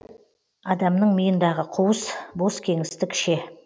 адамның миындағы қуыс бос кеңістік ше